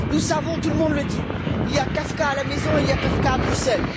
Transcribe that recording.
Nous savons, tout le monde le dit Il y a Kafka à la maison, il y a Kafka à Bruxelles.